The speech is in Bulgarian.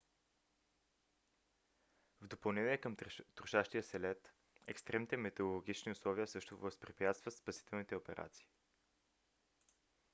в допълнение към трошащия се лед екстремните метеорологични условия също възпрепятстват спасителните операции